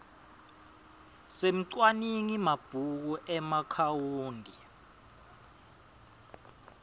semcwaningi mabhuku emaakhawunti